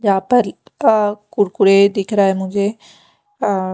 यहाँ पर अ कुरकुरे दिख रहे है मुझे अ --